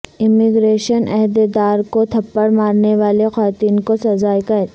immigration عہدیدار کو تھپڑ مارنے والی خاتون کو سزائے قید